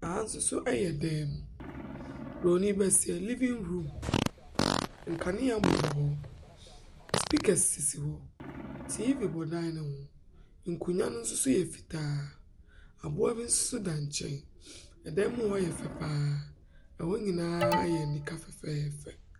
Ɛha nso yɛ dan mu. Bronin bɛseɛ, living room. Nkanea bobɔ hɔ. Speakers sisi hɔ. TV bɔ dan no ho, nkonnwa no nso yɛ fitaa. Aboa bi nso da nkyɛn. Dan mu hɔ yɛ fɛ pa ara. Hɔ nyinaa yɛ anika fɛfɛɛfɛ.